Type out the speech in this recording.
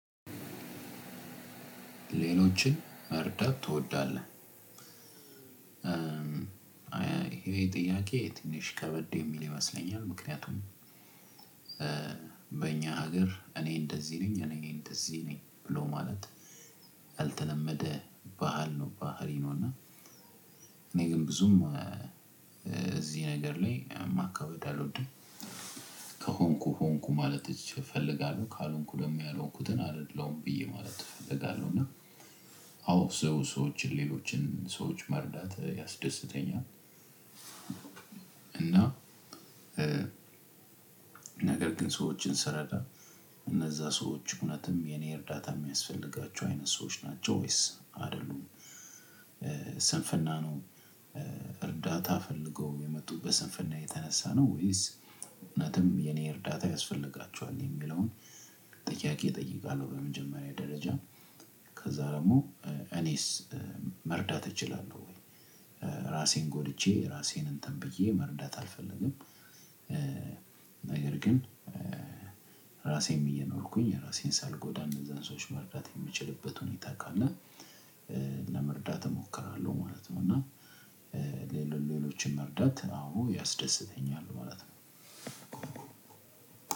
ሌሎችን መርዳት ትወዳለህ? እሄ ጥያቄ ትንሽ ከበድ የሚል ይመስለኛል ምክንያቱም በኛ ሀገር እኔ እንደዚህ ነኝ እኔ እንደዚህ ነኝ ብሎ ማለት ያልተለመደ ባህል ነው ባህሪ ነው እና እኔ ግን ብዙም እዚህ ነገር ላይ ማካበድ አልወድም ከሆንኩ ሆንኩ ማለት እፈልጋለሁ ካልሆንኩ ደግሞ ያልሆንኩትን አደለሁም ብዬ ማለት እፈልጋለሁ እና አዎ ሰዎችን ሌሎችን ሰዎች መርዳት ያስደስተኛል። እና እእዕ ነገር ግን ሰዎችን ስረዳ እነዛ ሰዎች እውነትም የኔ እርዳታ የሚያስፈልጋቸው አይነት ሰዎች ናቸው ወይስ አይደሉም? ስንፍና ነው እርዳታ ፈልገው የመጡት በስንፍና የተነሳ ነው ወይስ? እውነትም የኔ እርዳታ ያስፈልጋችኋል? የሚለውን ጥያቄ እጠይቃለሁ በመጀመሪያ ደረጃ ከዛ ደግሞ እኔስ? መርዳት እችላለሁ ወይ? ራሴን ጎድቼ ራሴን እንትን ብዬ መርዳት አልፈልግም እእእ ነገር ግን ራሴም እየኖርኩኝ ራሴን ሳልጎዳ እነዛን ሰዎች መርዳት የምችልበት ሁኔታ ካለ ለመርዳት እሞክራለሁ ማለት ነው። እና ሌሎችን መርዳት አዎ ያስደስተኛል ማለት ነው።